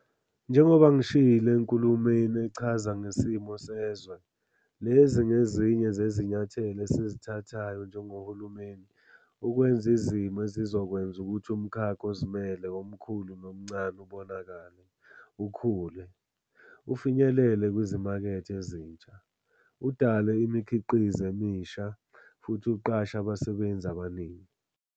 Njengoba ngishilo eNkulumweni Echaza Ngesimo Sezwe, lezi ngezinye zezinyathelo esizithathayo njengohulumeni "ukwenza izimo ezizokwenza ukuthi umkhakha ozimele omkhulu nomncane ubonakale, ukhule, ufinyelele kwizimakethe ezintsha, udale imikhiqizo emisha, futhi uqashe abasebenzi abaningi."